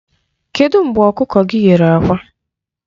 Kedụ mgbe ọkụkọ gị nyere àkwá?